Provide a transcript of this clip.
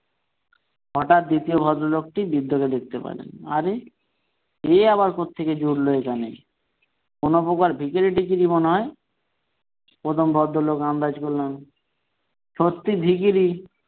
হঠাৎ দ্বিতীয় ভদ্রলোকটি বৃদ্ধ লোককে দেখতে পেলেন আরে এ আবার কোত্থেকে জুটলো এখানে কোন প্রকার ভিখারি টিখারি মনে হয় প্রথম ভদ্রলোক আন্দাজ করলেন সত্যিই ভিখিরি।